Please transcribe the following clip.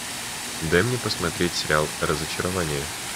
дай мне посмотреть сериал разочарование